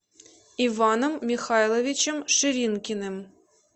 иваном михайловичем ширинкиным